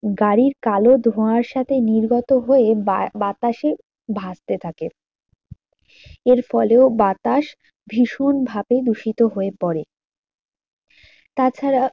গাড়ির কালো ধোঁয়ার সাথে নির্গত হয়ে বাতাসে ভাসতে থাকে এর ফলেও বাতাস ভীষণ ভাবে দূষিত হয়ে পরে। তা ছাড়া